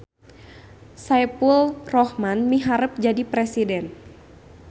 Saepulrohman miharep jadi presiden